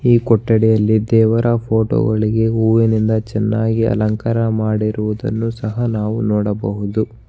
ಈ ಕೊಠಡಿಯಲ್ಲಿ ದೇವರ ಫೋಟೋ ಗಳಿಗೆ ಹೂವಿನಿಂದ ಚೆನ್ನಾಗಿ ಅಲಂಕಾರ ಮಾಡಿರುವುದನ್ನು ಸಹ ನಾವು ನೋಡಬಹುದು.